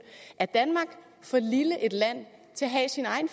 er danmark for lille et land til at have sin egen